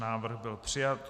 Návrh byl přijat.